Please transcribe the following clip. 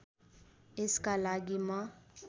यसका लागि म